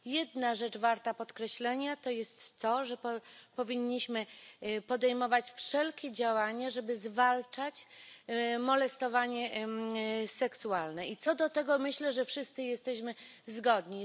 Jedna rzecz warta podkreślenia to jest to, że powinniśmy podejmować wszelkie działania, żeby zwalczać molestowanie seksualne, i co do tego myślę, że wszyscy jesteśmy zgodni.